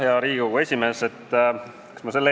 Hea Riigikogu esimees!